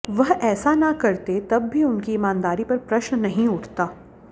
वह ऐसा ना करते तब भी उनकी ईमानदारी पर प्रश्न नहीं उठता